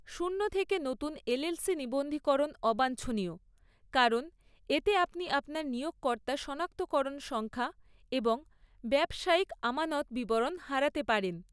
শূন্য থেকে নতুন এলএলসি নিবন্ধীকরণ অবাঞ্ছনীয়, কারণ এতে আপনি আপনার নিয়োগকর্তা সনাক্তকরণ সংখ্যা এবং ব্যবসায়িক আমানত বিবরণ হারাতে পারেন।